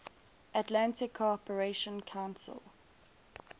atlantic cooperation council